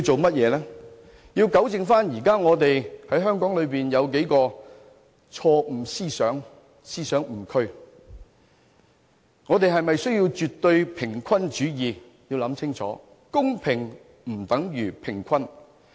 便是糾正香港現時數個錯誤思想或思想誤區，我們是否需要絕對平衡主義，實在需要考慮清楚，公平不等於平衡。